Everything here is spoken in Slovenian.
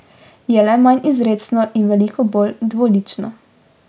Je le manj izrecno in veliko bolj dvolično.